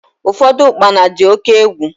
Ụfọdụ ukpana dị oke egwu